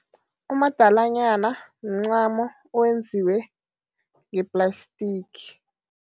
Umadalanyana mncamo owenziwe ngeplastiki.